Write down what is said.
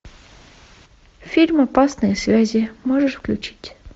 фильм опасные связи можешь включить